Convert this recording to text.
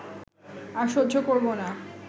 আর সহ্য করব না